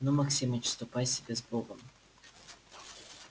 ну максимыч ступай себе с богом